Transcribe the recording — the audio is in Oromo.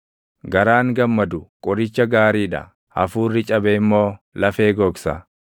Garaan gammadu qoricha gaarii dha; hafuurri cabe immoo lafee gogsa.